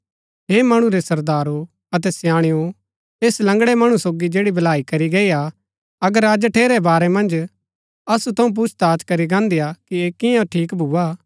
हे मणु रै सरदारो अतै स्याणेओ ऐस लंगड़ै मणु सोगी जैड़ी भलाई करी गई हा अगर अज ठेरै बारै मन्ज असु थऊँ पुछताछ करी गान्दीआ कि ऐह कियां ठीक भूआ